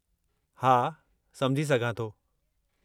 हा, सम्झी सघां थो।